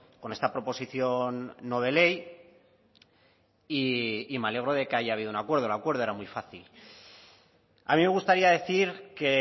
con esta proposición no de ley y me alegro de que haya habido un acuerdo el acuerdo era muy fácil a mí me gustaría decir que